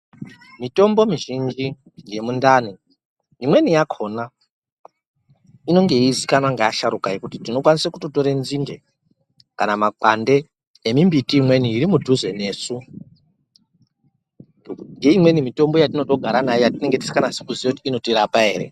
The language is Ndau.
Mitombo mizhinji yemundani imweni yakhona inenge yeizikanwa ngeasharukwa kuti tinokwanise kutotore nzinde kana makwande emimbiti iri mudhuze nesu ngeimweni mitombo yatinotogara nayo yatinenge tisikanasi kuziya kuti inotorapa ere.